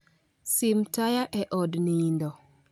sim taya eod nindo